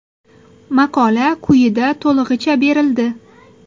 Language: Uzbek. Maqola quyida to‘lig‘icha berildi.